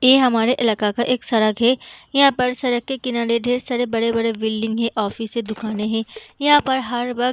ऐ हमारे इलाके का एक सड़क है इहाँ पर सड़क के किनारे ढेर सारे बड़े-बड़े बिल्डिंग है ऑफिस है दुकाने हैं इहाँ पर हर वक्त --